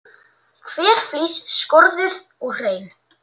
Hver flís skorðuð og hrein.